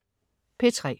P3: